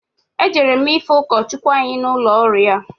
Ejere m ifụ ụkọchụkwụ anyị n'ụlọ ọrụ ya.